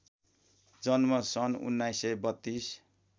जन्म सन् १९३२